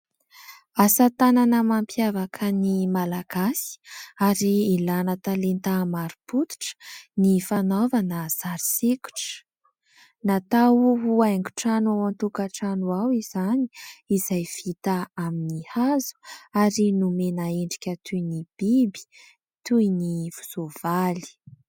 Asa tanana mampiavaka ny malagasy ary ilana talenta mari-potitra ny fanaovana sary sikotra. Natao ho haingo trano ao an-tokatrano ao izany izay vita amin'ny hazo ary nomena endrika toy ny biby toy ny soavaly.